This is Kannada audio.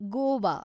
ಗೋವಾ